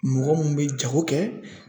Mɔgɔ mun bɛ jago kɛ